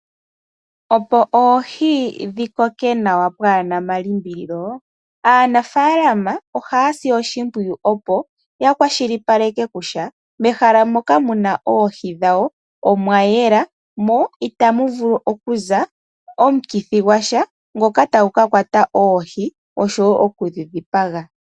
Opo oohi dhi koke nawa pwaana omalimbililo, aanafalama ohaya si oshimpwiyu opo ya kwashilipaleke kutya mehala moka muna oohi dhawo omwa yela, mo itamu vulu okuza omukithi gwa sha, ngoka tagu ka kwata oohi oshowo okudhi dhipaga.